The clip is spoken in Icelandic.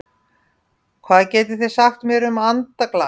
Hvað getið þið sagt mér um andaglas?